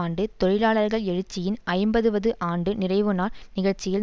ஆண்டு தொழிலாளர்கள் எழுச்சியின் ஐம்பதுவது ஆண்டு நிறைவுநாள் நிகழ்ச்சியில்